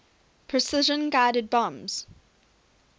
precision guided bombs